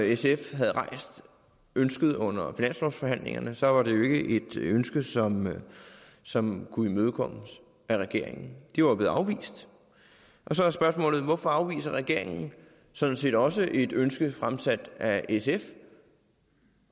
sf havde rejst ønsket under finanslovsforhandlingerne så var det jo ikke et ønske som som kunne imødekommes af regeringen det var blevet afvist og så er spørgsmålet hvorfor ville regeringen sådan set også afvise et ønske fremsat af sf